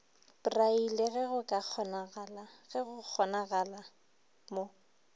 braille ge go kgonagala mo